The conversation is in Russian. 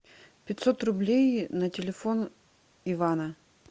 пятьсот рублей на телефон ивана